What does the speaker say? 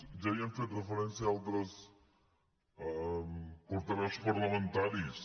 ja hi han fet referència altres portaveus parlamentaris